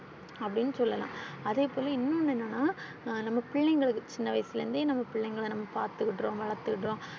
அப்பிடினு சொல்லலாம் அதேபோல இன்னோனு என்னன்னா நம்ம பிள்ளைங்களுக்கு சின்ன வயசுல இருந்தே நம்ம பிள்ளைங்கள நாம பார்த்துருக்குறோம், வளர்த்துருக்குறோம்.